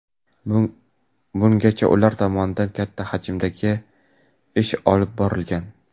Bungacha ular tomonidan katta hajmdagi ish olib borilgan.